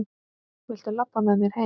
Viltu labba með mér heim!